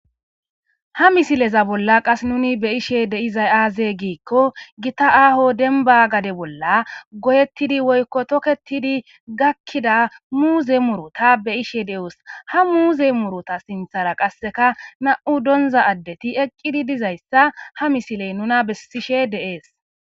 ha misileza bolla qas nuni be'ishe de izay aazee giikko gita aaho denba gade bolla goyettidi woykko toketidi gakkida muuze murota be ishe de7os ha muuze murota sinthara qasseka na7u donza addeti eqqidi dizayssa ha misiley nuna bessishe de'ees